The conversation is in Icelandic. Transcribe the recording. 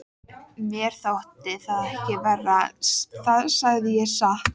Mér þótti það ekki verra, það segi ég satt.